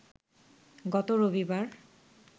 গত রবিবার